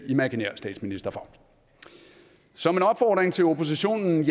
imaginær statsminister for så min opfordring til oppositionen